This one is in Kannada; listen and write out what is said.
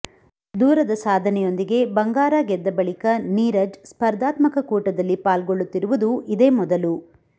ದೂರದ ಸಾಧನೆಯೊಂದಿಗೆ ಬಂಗಾರ ಗೆದ್ದ ಬಳಿಕ ನೀರಜ್ ಸ್ಪರ್ಧಾತ್ಮಕ ಕೂಟದಲ್ಲಿ ಪಾಲ್ಗೊಳ್ಳುತ್ತಿರುವುದು ಇದೇ ಮೊದಲು